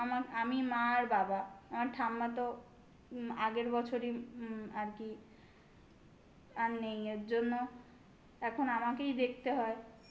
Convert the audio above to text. আমার আমি মা আর বাবা. আমার ঠাম্মা তো উম আগের বছরই উম আর কি আর নেই এর জন্য এখন আমাকেই দেখতে হয়।